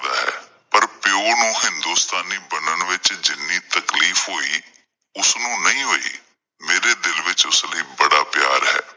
ਪਰ ਪਿਓ ਨੂੰ ਹਿੰਦੁਸਤਾਨੀ ਬਣਨ ਵਿੱਚ ਜਿੰਨੀ ਤਕਲੀਫ ਹੋਈ ਉਸਨੂੰ ਨਹੀ ਹੋਈ ਮੇਰੇ ਦਿਲ ਵਿੱਚ ਉਸ ਲਈ ਬੜਾ ਪਿਆਰ ਹੈ।